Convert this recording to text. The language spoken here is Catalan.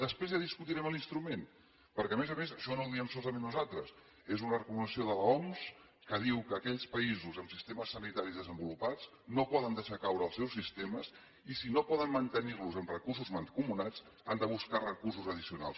després ja discutirem l’instrument perquè a més a més això no ho diem solament nosaltres és una recomanació de l’oms que diu que aquells països amb sistemes sanitaris desenvolupats no poden deixar caure els seus sistemes i si no poden mantenir los amb recursos mancomunats han de buscar recursos addicionals